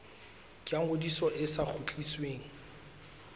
ya ngodiso e sa kgutlisweng